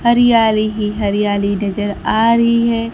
हरियाली ही हरियाली नजर आ रही है।